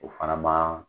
O fana ma